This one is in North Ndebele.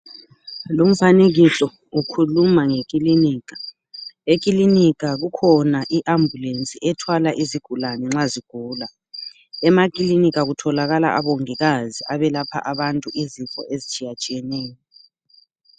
Lumfanekiso ukhuluma ngekilinika. Eklilinika kukhona iambulensi ethwala izigulane nxa zigula. Eklilinika kutholakalla obongikazi abalapha abantu izifo ezitshiyetshiyeneyo.